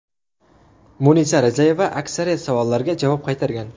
Munisa Rizayeva aksariyat savollarga javob qaytargan.